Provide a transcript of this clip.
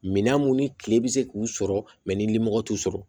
Minan mun ni kile bɛ se k'u sɔrɔ mɛ ni limɔgɔ t'u sɔrɔ